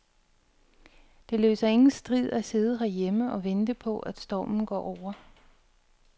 Det løser ingen strid at sidde herhjemme og vente på, at stormen går over.